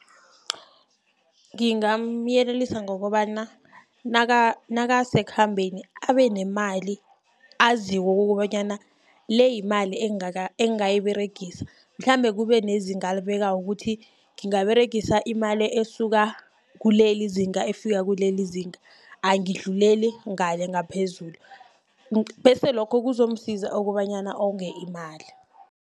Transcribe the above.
Ngingamyelelisa ngokobana nakasekhambeni, abe nemali aziko kobanyana le yimali engingayiberegisa. Mhlambe kube nezinga alibekako kuthi ngingaberegisa imali esuka kulel izinga efika kuleli izinga, angidluleli ngale ngaphezulu., bese lokho kuzomsiza kobanyana onge imali.